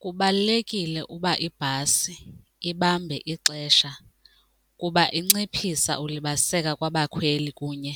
Kubalulekile ukuba ibhasi ibambe ixesha kuba inciphisa ukulibaziseka kwabakhweli kunye